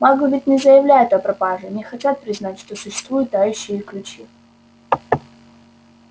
маглы ведь не заявляют о пропаже не хотят признать что существуют тающие ключи